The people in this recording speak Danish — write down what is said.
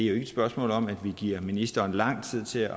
er et spørgsmål om at vi giver ministeren lang tid til